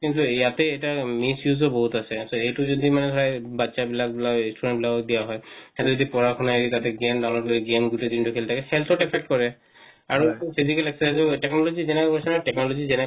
কিন্ত ইয়াতে এটা miss use ও বহুত আছে এটো যদি মানে ধৰা বাচ্চা বিলাক বা students বিলাকক দিয়া হয় হেয়তে যদি পৰাশুনা এৰি তাতে game download লই game গুটে দিন খেলি থাকে health ত affect কৰে আৰু তো physical exercise ও লাগে technology যেনেকা কৈছে না technology যেনেকা কৈছে না